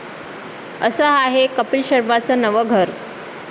असं आहे कपील शर्माचं नवं 'घर'